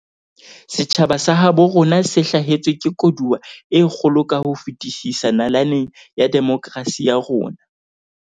Setjhaba sa habo rona se hlahetswe ke koduwa e kgolo ka ho fetisisa nalaneng ya demokrasi ya rona.